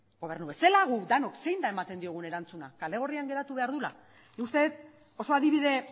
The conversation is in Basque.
gobernu bezala guk denok zein da ematen diogun erantzuna kale gorrian geratu behar duela nik uste dut oso adibide